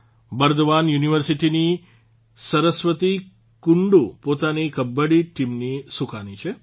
બર્દવાન યુનિવર્સિટીની સરસ્વતી કુંડુ પોતાની કબડ્ડી ટીમની સૂકાની છે